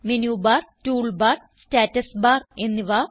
menu bar toolbar status bar എന്നിവ